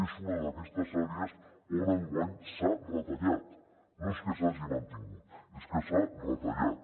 és una d’aquestes àrees on enguany s’ha retallat no és que s’hagi mantingut és que s’ha retallat